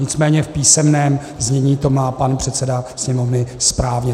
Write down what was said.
Nicméně v písemném znění to má pan předseda Sněmovny správně.